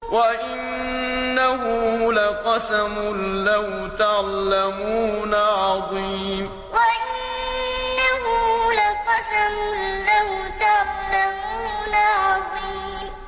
وَإِنَّهُ لَقَسَمٌ لَّوْ تَعْلَمُونَ عَظِيمٌ وَإِنَّهُ لَقَسَمٌ لَّوْ تَعْلَمُونَ عَظِيمٌ